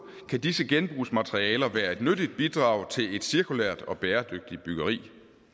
kan disse genbrugsmaterialer være et nyttigt bidrag til et cirkulært og bæredygtigt byggeri